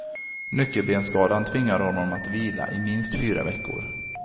Nyckelbensskadan tvingar honom att vila i minst fyra veckor.